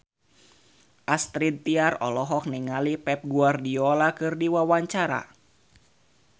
Astrid Tiar olohok ningali Pep Guardiola keur diwawancara